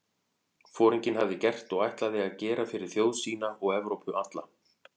Foringinn hafði gert og ætlaði að gera fyrir þjóð sína og Evrópu alla?